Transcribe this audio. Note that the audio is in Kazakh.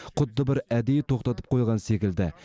құдды бір әдейі тоқтатып қойған секілді